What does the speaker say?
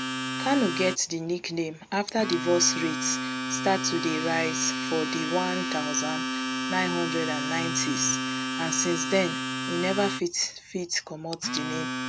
kano get di nickname afta divorce rates start to dey rise for di one thousand, nine hundred and ninetys and since den e neva fit fit comot di name